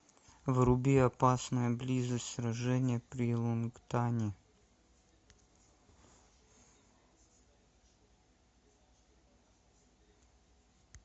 вруби опасная близость сражение при лонгтане